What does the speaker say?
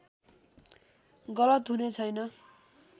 गलत हुने छैन